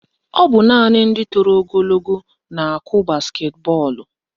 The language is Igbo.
Ọ bụ naanị ndị toro ogologo na-akụ basketi bọọlụ